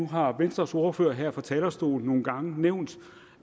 har venstres ordfører her fra talerstolen nogle gange nævnt